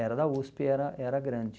Era da USP, era era grande.